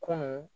Kunun